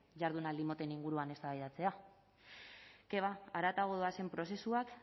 jardunaldi moten inguruan eztabaidatzea que va haratago doazen prozesuak